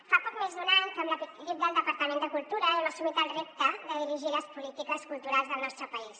fa poc més d’un any que amb l’equip del departament de cultura hem assumit el repte de dirigir les polítiques culturals del nostre país